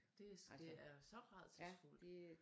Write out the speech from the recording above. Det det er så rædselsfudt